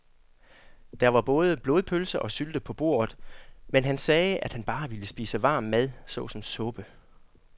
Der var både blodpølse og sylte på bordet, men han sagde, at han bare ville spise varm mad såsom suppe.